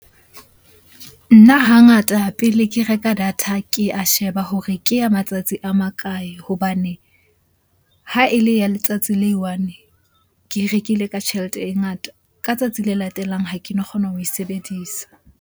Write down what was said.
Nna hangata pele ke reka data, ke a sheba hore ke ya matsatsi a makae? Hobane ha e le ya letsatsi le i-one, ke e rekile ka tjhelete e ngata. Ka tsatsi le latelang ha keno kgona ho e sebedisa.